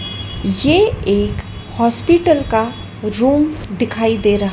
ये एक हॉस्पिटल का रूम दिखाई दे र--